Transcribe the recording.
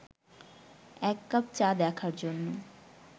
এক কাপ চা দেখার জন্য